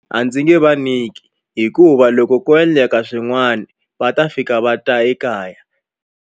A ndzi nge vanyiki hikuva loko ko endleka swin'wana va ta fika va ta ekaya.